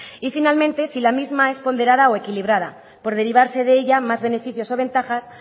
y finalmente si la misma es ponderada o equilibrada por derivarse de ella más beneficios o ventajas